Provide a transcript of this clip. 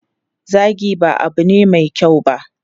Zagi ba abu ne mai kyau ba.